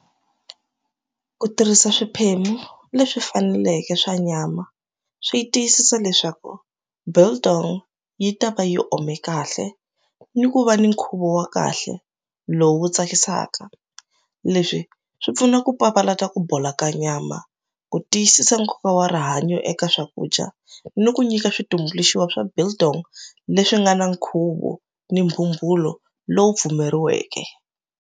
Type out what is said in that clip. Ku tirhisa swiphemu leswi faneleke swa nyama swi yi tiyisisa leswaku biltong yi ta va yi ome kahle ni ku va ni nkhuvo wa kahle lowu tsakisaka leswi swi pfuna ku papalata ku bola ka nyama ku tiyisisa nkoka wa rihanyo eka swakudya ni ku nyika switumbuluxiwa swa biltong leswi nga na nkhuvo ni lowu pfumeleriweke.